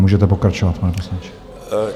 Můžete pokračovat, pane poslanče.